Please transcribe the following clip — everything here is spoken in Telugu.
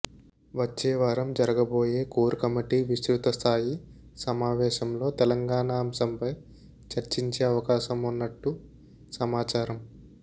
వచ్చే వారం జరుగబోయే కోర్ కమిటీ విస్తృతస్థాయి సమావేశంలో తెలంగాణ అంశంపై చర్చించే అవకాశం ఉన్నట్టు సమాచారం